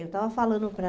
Eu estava falando para...